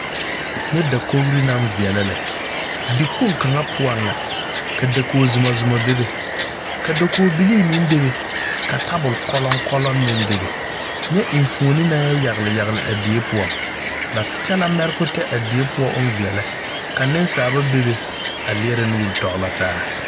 Nyɛ dakogre naŋ veɛlɛ lɛ di kpoŋ kaŋa poɔŋ la ka dakoge zumɔzumɔ bebe ka dakoge bilii meŋ bebe ka tabol kɔlɔŋkɔlɔŋ meŋ bebe nyɛ enfuone naŋ yɛ yagle yagle a die poɔ ba tɛ la mɛrokotɛ a die poɔ oŋ veɛlɛ neŋsaaba babes lierɛ nuure tɔglɔ taa.